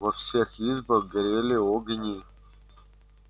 во всех избах горели огни